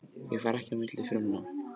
Þau fara ekki á milli frumna.